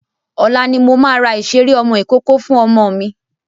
Ọ̀la ni mo máa ra ìṣeré ọmọ ìkókó fún ọmọ mi.